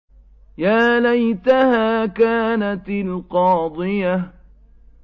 يَا لَيْتَهَا كَانَتِ الْقَاضِيَةَ